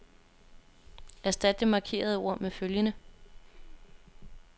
Erstat det markerede ord med følgende.